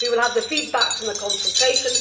we will have the feedback from the consultation.